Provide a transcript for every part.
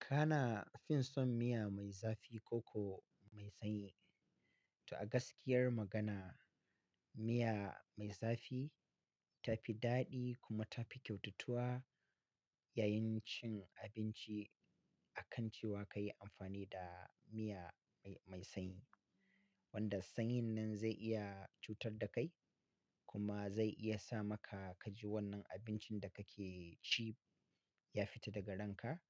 Kana fin son miya mai zafi ko mai sanyi? To a gaskiyar magana, miya mai zafi ta fi daɗi kuma ta fi kyautatuwa yayin cin abinci akan cewa ka yi amfani da miya mai sanyi. Wanda sanyin nan zai iya cutar da kai kuma zai iya sa maka ka ji wannan abincin da kake ci ya fita daga ranka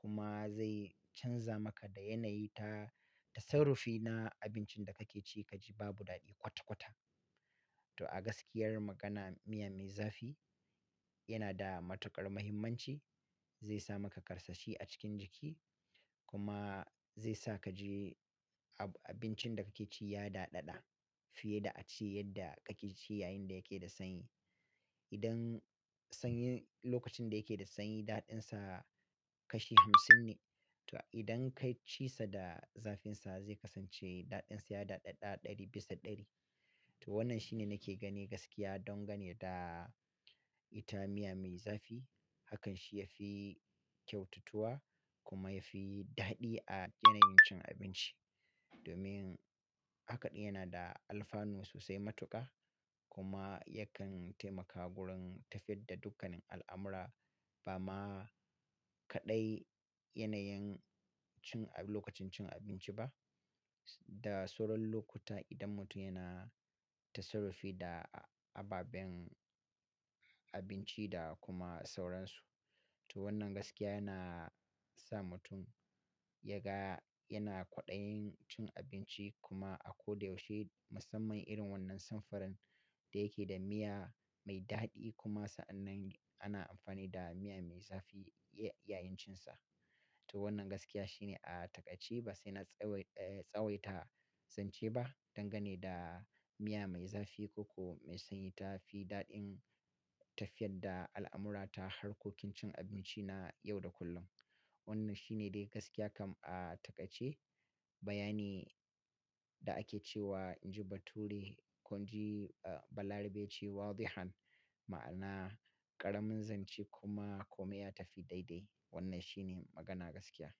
kuma zai canza maka da yanayi ta, ta sarrafina abincin da kake ci ka ji babu daɗi kwata-kwata. To a gaskiyar magana, miya mai zafi yana da matuƙar muhimmanci, zai sa maka karsashi a cikin jiki kuma zai sa ka ji ab-abincin da kake ci ya daɗaɗa fiye da a ci yadda kake ci yayin da yake da sanyi. Idan sanyi lokacin da yake da sanyi daɗinsa kashi hamsin ne. To idan ka ci sa da zafinsa zai kasance daɗinsa ya daɗaɗa ɗari bisa ɗari. To wannan shine nake gani gaskiya dangane da ita miya mai zafi hakan shi ya fi kyautatuwa kuma ya fi daɗi a yanayin cin abinci. Domin hakaɗin yana da alfanu sosai matuƙa kuma yakan taimaka wurin tafiyar da dukkanin al'amura ba ma kaɗai yanayin cin a lokacin cin abinci ba da sauran lokuta idan mutum yana ta sarrafi da ababen abinci da kuma sauransu. To wannan gaskiya yana sa mutum ya ga yana kwaɗayin cin abinci kuma a ko da yaushe musamman irin wannan sanfarin da yake da miya mai daɗi kuma sa'annan ana amfani da miya mai zafi ya-yayin cinsa. To wannan gaskiya shine a taƙaice ba sai na tsawaita, tsawaita zance ba dangane da miya mai zafi ko mai sanyi ta fi daɗin tafiyar da al'amura ta harkokin cin abinci na yau da kullum. Wannan shine dai gaskiya kam a taƙaice. Bayani da ake cewa "Inji bature ko inji balarabe ce wadhihan" ma'ana ƙaramin zance kuma kome ya tafi daidai. Wannan shi ne magana gaskiya.